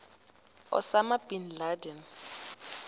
osama bin laden